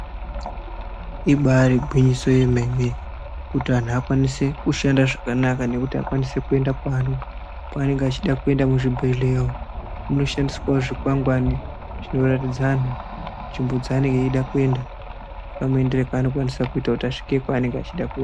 Ibaari gwinyiso yemene kuti anhu akwanise kushanda zvakanaka nekuti akwanise kuenda kwaanenge achida kuenda muzvibhedhleya umu. Munoshandiswawo zvikwangwani zvinoratidza anhu nzvimbo dzaanenge eida kuenda, nekamuendere kaanokwanisa kuita kuti asvike kwaanenge achida kue..